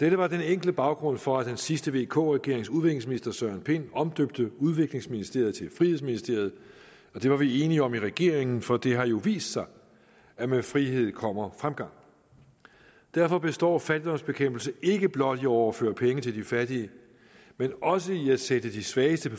dette var den enkle baggrund for at den sidste vk regerings udviklingsminister herre søren pind omdøbte udviklingsministeriet til frihedsministeriet og det var vi enige om i regeringen for det har jo vist sig at med frihed kommer fremgang derfor består fattigdomsbekæmpelse ikke blot i at overføre penge til de fattige men også i at sætte de svageste